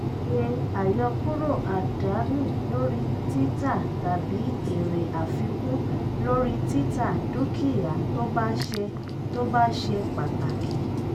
ṣe àyọkúrò àdánù lórí títà tàbí èrè àfikún lórí títà dúkìá tó bá ṣe tó bá ṣe pàtàkì.